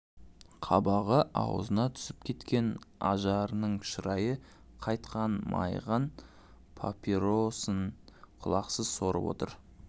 қабағы аузына түсіп кеткен ажарының шырайы қайтқан мойыған папиросын құлықсыз сорып отыр